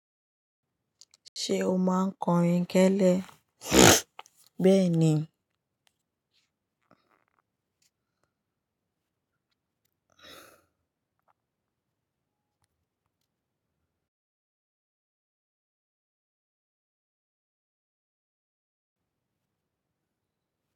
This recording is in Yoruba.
Ṣé o máa ń kọrin kélé? Bẹ́ẹ̀ ni.